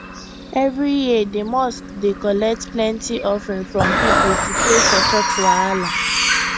every year the mosque dey collect plenty offering from people to pay for church wahala